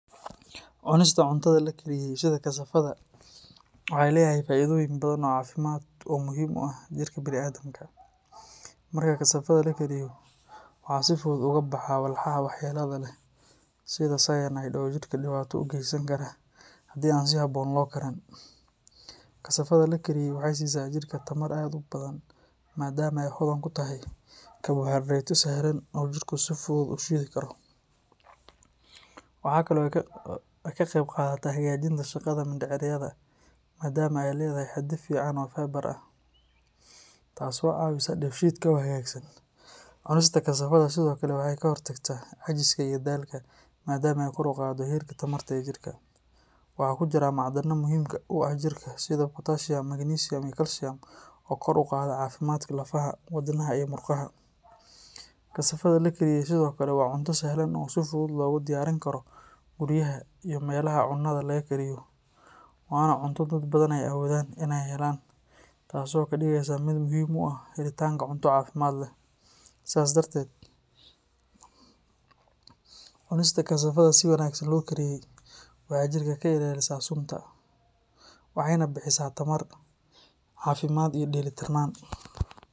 Cunista cuntada la kariyey sida kasafada waxay leedahay faa’iidooyin badan oo caafimaad oo muhiim u ah jirka bini’aadamka. Marka kasafada la kariyo, waxaa si fudud uga baxa walxaha waxyeellada leh sida cyanide oo jirka dhibaato u geysan kara haddii aan si habboon loo karin. Kasafada la kariyey waxay siisaa jirka tamar aad u badan maadaama ay hodan ku tahay karbohaydraytyo sahlan oo jirku si fudud u shiidi karo. Waxaa kale oo ay ka qaybqaadataa hagaajinta shaqada mindhicirada maadaama ay leedahay xaddi fiican oo fiber ah, taasoo caawisa dheefshiidka oo hagaagsan. Cunista kasafada sidoo kale waxay ka hortagtaa caajiska iyo daalka maadaama ay kor u qaaddo heerka tamarta ee jirka. Waxaa ku jira macdanaha muhiimka u ah jirka sida potassium, magnesium iyo calcium oo kor u qaada caafimaadka lafaha, wadnaha iyo murqaha. Kasafada la kariyey sidoo kale waa cunto sahlan oo si fudud loogu diyaarin karo guryaha iyo meelaha cunnada laga kariyo, waana cunto dad badan ay awoodaan in ay helaan taasoo ka dhigaysa mid muhiim u ah helitaanka cunto caafimaad leh. Sidaas darteed, cunista kasafada si wanaagsan loo kariyey waxay jirka ka ilaalisaa sunta, waxayna bixisaa tamar, caafimaad iyo dheelitirnaan.